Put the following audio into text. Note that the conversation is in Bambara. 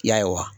I y'a ye wa